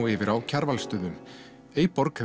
yfir á Kjarvalsstöðum